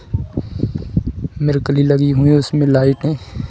मिरकली लगी हुई है उसमें लाइट है।